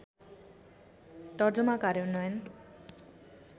तर्जुमा कार्यान्वयन